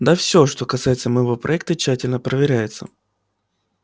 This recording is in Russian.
да всё что касается моего проекта тщательно проверяется